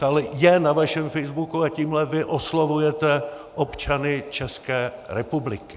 Tohle je na vašem facebooku a tímhle vy oslovujete občany České republiky.